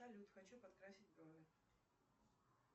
салют хочу подкрасить брови